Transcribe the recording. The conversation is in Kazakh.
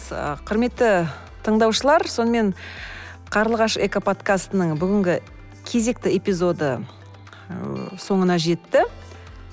ы құрметті тыңдаушылар сонымен қарлығаш экоподкастының бүгінгі кезекті эпизоды ыыы соңына жетті